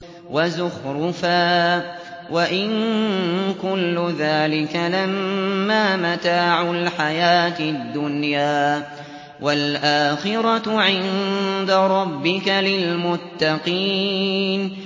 وَزُخْرُفًا ۚ وَإِن كُلُّ ذَٰلِكَ لَمَّا مَتَاعُ الْحَيَاةِ الدُّنْيَا ۚ وَالْآخِرَةُ عِندَ رَبِّكَ لِلْمُتَّقِينَ